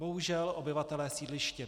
Bohužel obyvatelé sídliště